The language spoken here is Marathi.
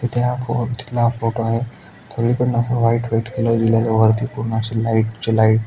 इथे हा फो तिथला फोटो आहे. सगळीकडे एकदम अस व्हाइट व्हाइट कलर दिलंय. वरती पूर्ण अस लाइट च्या लाइट --